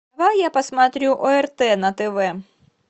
дай я посмотрю орт на тв